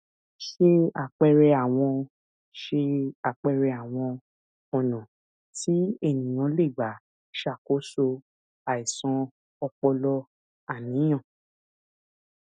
se apere awọn se apere awọn ọnà tí eniyan lè gbà ṣàkóso àìsàn ọpọlọàníyàn